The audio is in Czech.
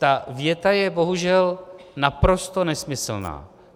Ta věta je bohužel naprosto nesmyslná.